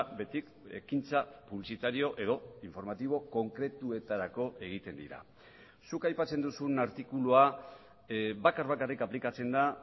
beti ekintza publizitario edo informatibo konkretuetarako egiten dira zuk aipatzen duzun artikulua bakar bakarrik aplikatzen da